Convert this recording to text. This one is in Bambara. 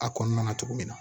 A kɔnɔna na cogo min na